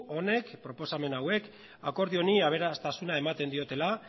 honek proposamen hauek akordio honi aberastasuna ematen diotela